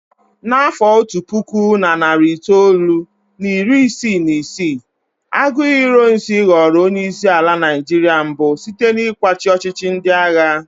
Na afọ otu puku na narị itoolu na iri isii na isii, Aguiyi Ironsi ghọrọ onye isi ala Naijiria mbụ site n'ịkwachi ọchịchị ndị agha.